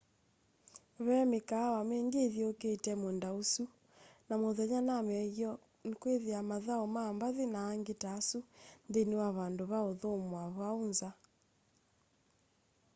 ve mikaawa mingi ithyuukite muunda usu na muthenya na maiyoo nikwithiawa mathau ma mbathi na angi ta asu nthini wa vandu va uthumua vau nza